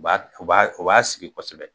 B'a u b'a u b'a sigi kosɛbɛ.